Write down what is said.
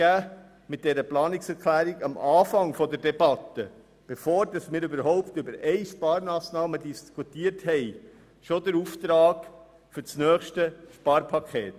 Noch bevor wir überhaupt über eine Sparmassnahme diskutiert haben, geben wir mit dieser Planungserklärung am Anfang der Debatte schon den Auftrag für das nächste Sparpaket.